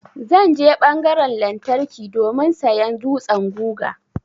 Zan je ɓangaran lantarki domin sayan dutsan guga.